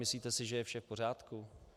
Myslíte si, že je vše v pořádku?